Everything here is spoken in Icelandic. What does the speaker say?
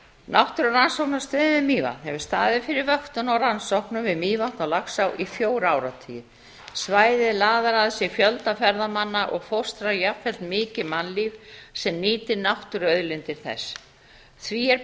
náttúrurannsóknastöðin við mývatn hefur staðið fyrir vöktun og rannsóknum við mývatn og laxá í fjóra áratugi svæðið laðar að sér fjölda ferðamanna og fóstrar jafnframt mikið mannlíf sem nýtir náttúruauðlindir þess því er